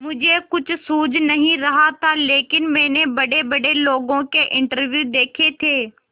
मुझे कुछ सूझ नहीं रहा था लेकिन मैंने बड़ेबड़े लोगों के इंटरव्यू देखे थे